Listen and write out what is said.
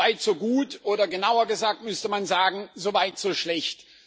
So weit, so gut, oder genauer gesagt müsste man sagen So weit, so schlecht.